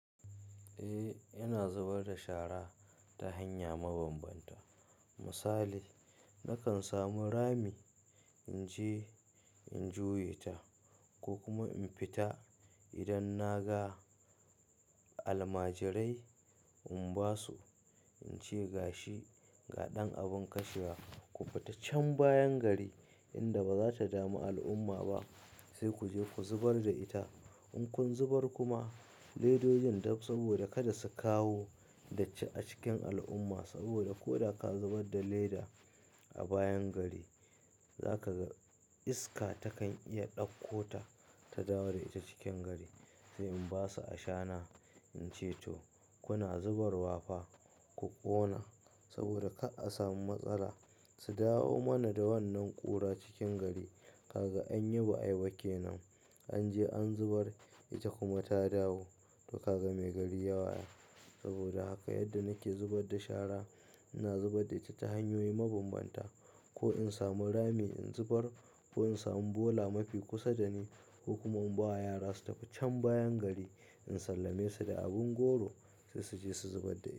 Eh, ina zubar da shara ta hanya mabambanta. Misali nakan samu rami in je in juye ta ko kuma in fita idan na ga almajirai in ba su, in ce gashi, ga ɗan abin kashewa ku fita can bayan gari inda ba za ta dami al'umma ba sai ku je ku zubar da ita. In kun zubar kuma ledojin saboda kada su kawo datti a cikin al'umma saboda ko da ka zubar da leda a bayan gari za ka ga iska takan iya ɗaukota ta dawo da ta cikin gari. Sai in ba su ashana, in ce to kuna zubarwa fa ku ƙona saboda ka a samu matsala su dawo mana da wannan ƙura cikin gari. Kaga anyi ba ai ba kenan an je an zubar ita kuma ta dawo to kaga mai gari ya waya. Saboda haka yadda nake zubar da shara, ina zubar da ita ta hanyoyi mabambanta ko in samu rami in zubar ko in samu bola mafi kusa da ni, kuma in ba yara su tafi can bayan gari in sallame su da abin goro sai su je su zubar da ita.